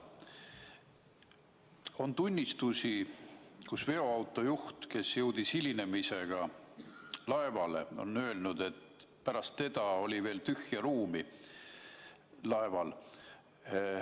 On tunnistusi, kus veoauto juht, kes jõudis hilinemisega laevale, on öelnud, et pärast teda oli veel tühja ruumi laeval.